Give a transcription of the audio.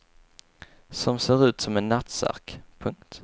Som ser ut som en nattsärk. punkt